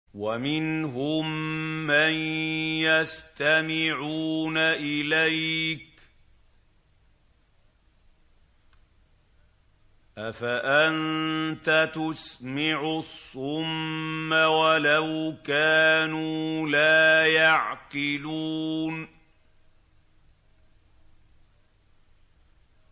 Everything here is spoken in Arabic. وَمِنْهُم مَّن يَسْتَمِعُونَ إِلَيْكَ ۚ أَفَأَنتَ تُسْمِعُ الصُّمَّ وَلَوْ كَانُوا لَا يَعْقِلُونَ